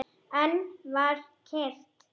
Enn var kyrrt.